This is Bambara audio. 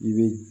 I bɛ